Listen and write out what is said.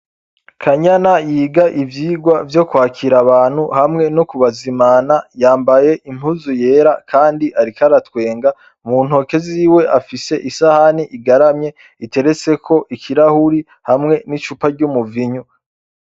Kanyana yiga ivyigwa vyo kwakira abantu hamwe no kubazimana, yambaye impuzu yera kandi ariko aratwenga, mu ntoke ziwe afise isahani igaramye iteretseko ikirahuri hamwe n'icuma ry'umuvinyu.